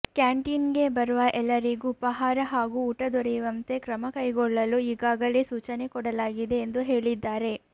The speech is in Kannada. ಕ್ಯಾಂಟೀನ್ಗೆ ಬರುವ ಎಲ್ಲರಿಗೂ ಉಪಾಹಾರ ಹಾಗೂ ಊಟ ದೊರೆಯುವಂತೆ ಕ್ರಮ ಕೈಗೊಳ್ಳಲು ಈಗಾಗಲೇ ಸೂಚನೆ ಕೊಡಲಾಗಿದೆ ಎಂದು ಹೇಳಿದ್ದಾರೆ